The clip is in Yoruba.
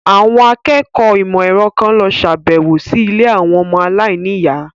Àwọn akẹ́kọ̀ọ́ ìmọ̀ ẹ̀rọ kan lọ sàbẹ̀wò sí ilé àwọn ọmọ aláìníyàá.